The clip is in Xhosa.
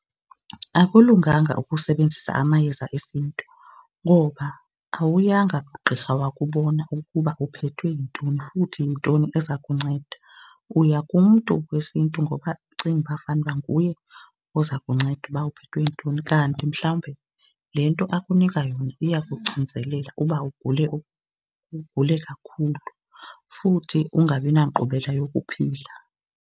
Akulunganga ukusebenzisa amayeza esiNtu ngoba awuyanga kugqirha wakubona ukuba uphethwe yintoni futhi yintoni eza kunceda. Uya kumntu wesiNtu ngoba ucinga uba fanuba nguye oza kunceda uba uphethwe yintoni, kanti mhlawumbe le nto akunika yona iyakucinzelela uba ugule ugule kakhulu futhi ungabinankqubela yokuphila.